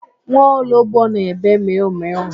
Nwa ologbo na-ebe mịụ mịụ.